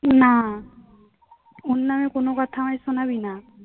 না ওর নামে কোনো কথা আমায় শুনাবি না